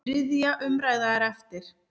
Þriðja umræða er eftir.